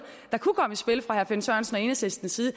der kunne komme i spil fra herre finn sørensen og enhedslistens side